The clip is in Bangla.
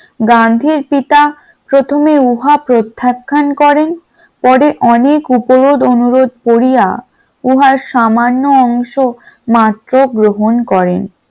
গান্ধীর পিতা প্রথমে উহা প্রত্যাখ্যান করেন পরে অনেক উপরোধ অনুরোধ করিয়া উহার সামান্য অংশ মাত্র গ্রহণ করেন ।